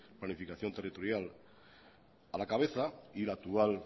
planificación territorial a la cabeza y la actual